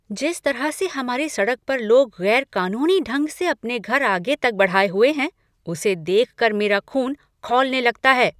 जिस तरह से हमारी सड़क पर लोग गैर कानूनी ढंग से अपने घर आगे तक बढ़ाए हुए हैं, उसे देख कर मेरा ख़ून खौलने लगता है।